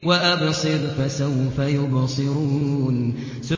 وَأَبْصِرْ فَسَوْفَ يُبْصِرُونَ